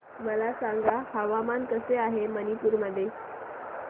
मला सांगा हवामान कसे आहे मणिपूर मध्ये